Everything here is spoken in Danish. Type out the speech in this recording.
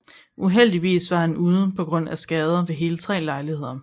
Uheldigvis var han ude på grund af skader ved hele tre lejligheder